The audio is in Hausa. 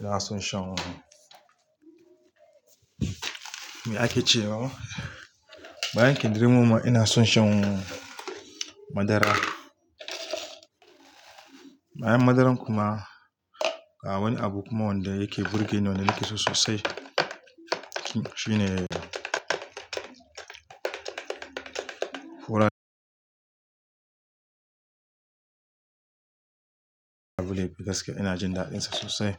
ina son shan miya ake cewa Bayan kindirmon ma ina son shan madara. Bayan madaran kuma akwai wani abu kuma wanda yake burge ni wanda nake so sosai. Shi, shi ne ɗakule gaskiya ina jin dadin sa sosai.